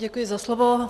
Děkuji za slovo.